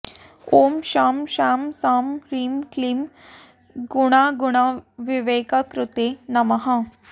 ॐ शं शां षं ह्रीं क्लीं गुणागुणविवेककृते नमः